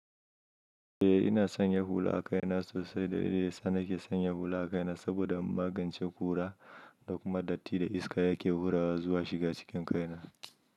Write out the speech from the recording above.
Eh ina sanya hula a kaina sosai dalilin da yasa na ke sanya hula a kaina saboda in magance kura da kuma dattin da iska yake hurawa zuwa shiga cikin kaina.